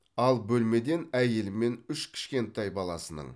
ал бөлмеден әйелі мен үш кішкентай баласының